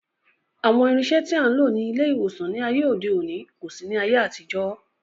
Àwọn irinṣẹ́ tí a ń lò ní ilé ìwòsàn ní ayé òde òní kò sí ní ayé àtijọ́